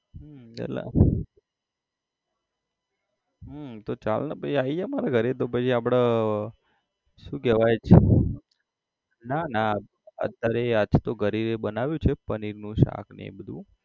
હમ વેલા હમ તો ચાલને પછી આઈ જા મારા ઘરે તો પહી આપડે આહ શું કહેવાય ના ના અત્યારે આજ તો ઘરે બનાવ્યું છે પનીરનું શાક અને એ બધું